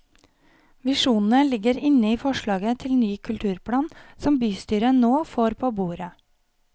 Visjonene ligger inne i forslaget til ny kulturplan som bystyret nå får på bordet.